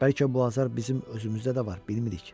Bəlkə bu azar bizim özümüzdə də var, bilmirik.